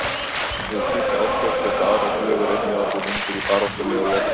Við slík átök geta aðrar glufur einnig orðið undir í baráttunni og lokast.